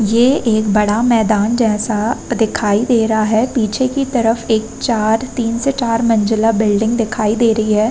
ये एक बड़ा मैदान जैसा दिखाई दे रहा है। पीछे की तरफ एक चार तीन से चार मंजिला बिल्डिंग दिखी दे रही है।